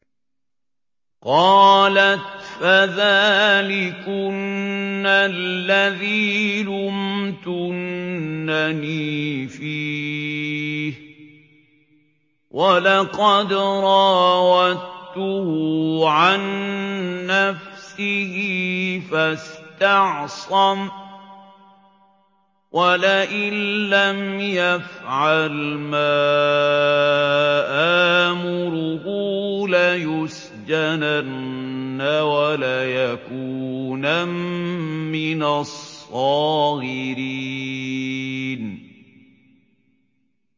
قَالَتْ فَذَٰلِكُنَّ الَّذِي لُمْتُنَّنِي فِيهِ ۖ وَلَقَدْ رَاوَدتُّهُ عَن نَّفْسِهِ فَاسْتَعْصَمَ ۖ وَلَئِن لَّمْ يَفْعَلْ مَا آمُرُهُ لَيُسْجَنَنَّ وَلَيَكُونًا مِّنَ الصَّاغِرِينَ